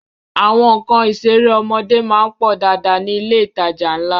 Àwọn nǹkan ìṣeré ọmọdé má ń pọ̀ dáadáa ní ilé ìtajà ńlá